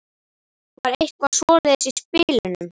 Var eitthvað svoleiðis í spilunum?